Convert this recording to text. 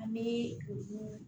An bɛ